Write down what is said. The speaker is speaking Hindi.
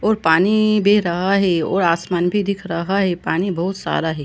और पानी बह रहा है और आसमान भी दिख रहा है पानी बहुत सारा है।